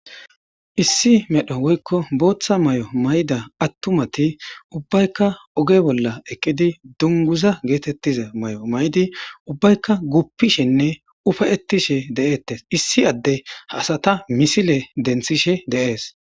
Issi medho woykko bootha mayo mayida atumati ubbaykka oge bolla eqqidi dunguza geetetiza mayo mayidi ubbaykka guupishenne ufa'etishe de'etees; issi addey ha asata misile denthishe de'es.